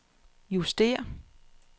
justér